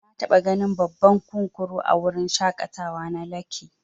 Nataba ganin babban kunkuru a wurin shaƙatawa na lekki.